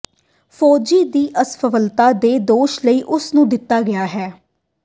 ਫੌਜੀ ਦੀ ਅਸਫਲਤਾ ਦੇ ਦੋਸ਼ ਲਈ ਉਸ ਨੂੰ ਦਿੱਤਾ ਗਿਆ ਹੈ